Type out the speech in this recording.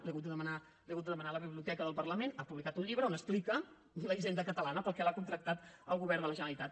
l’he hagut de demanar a la biblioteca del parlament ha publicat un llibre on explica la hisenda catalana per a què l’ha contractat el govern de la generalitat